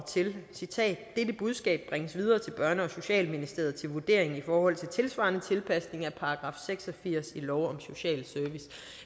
til at dette budskab bringes videre til børne og socialministeriet til vurdering i forhold til tilsvarende tilpasning af § seks og firs i lov om social service